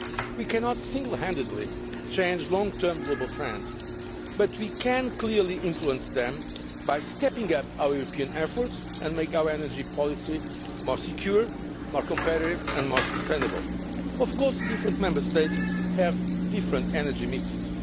We cannot single handedly change long term global trends, but we can clearly influence them by stepping up our European efforts and making our energy policy more secure, competitive and sustainable. Of course, different Member States have different energy mixes.